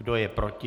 Kdo je proti?